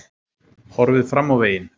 Horfið fram á veginn